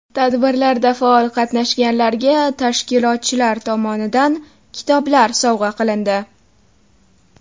Tadbirlarda faol qatnashganlarga tashkilotchilar tomonidan kitoblar sovg‘a qilindi.